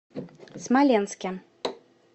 смоленске